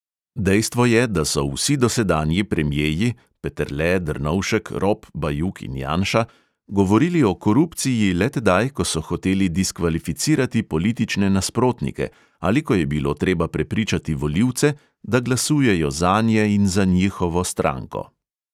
Dejstvo je, da so vsi dosedanji premjeji – peterle, drnovšek, rop, bajuk in janša – govorili o korupciji le tedaj, ko so hoteli diskvalificirati politične nasprotnike ali ko je bilo treba prepričati volivce, da glasujejo zanje in za njihovo stranko ...